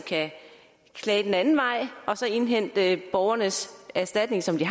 klage den anden vej og så indhente borgernes erstatning som de